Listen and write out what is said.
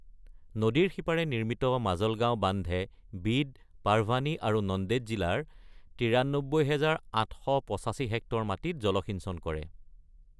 নদীৰ সিপাৰে নিৰ্মিত মাজলগাঁও বান্ধে বিড, পাৰভানী আৰু নন্দেদ জিলাৰ ৯৩,৮৮৫ হেক্টৰ মাটিত জলসিঞ্চন কৰে।